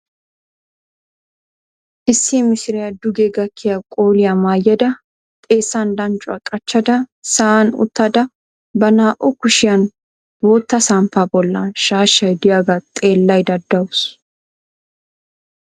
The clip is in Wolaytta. Issi mishiriya duge gakkiya qoliyaa maayada xeessan danccuwa qachchada sa"an uttada ba naa"u kushiyan bootta samppaa bollan shaashay diyaaga xeellaydda dawusu.